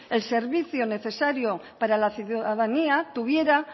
el servicio necesario para la ciudadanía tuviera